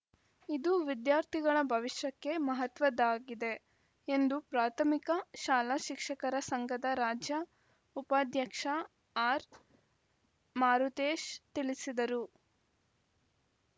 ಇದು ವಿದ್ಯಾರ್ಥಿಗಳ ಭವಿಷ್ಯಕ್ಕೆ ಮಹತ್ವದ್ದಾಗಿದೆ ಎಂದು ಪ್ರಾಥಮಿಕ ಶಾಲಾ ಶಿಕ್ಷಕರ ಸಂಘದ ರಾಜ್ಯ ಉಪಾಧ್ಯಕ್ಷ ಆರ್‌ಮಾರುತೇಶ್‌ ತಿಳಿಸಿದರು